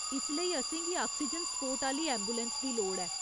इसलेई, असेंगी oxygen support आह्‌ली ऐंबुलैंस दी लोड़ ऐ।